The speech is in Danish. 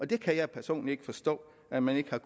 det kan jeg personligt ikke forstå at man ikke har